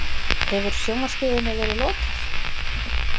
Hefur sjónvarpsstöðinni verið lokað